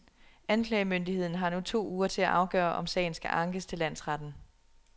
Anklagemyndigheden har nu to uger til at afgøre, om sagen skal ankes til landsretten.